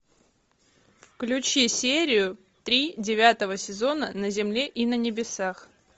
включи серию три девятого сезона на земле и на небесах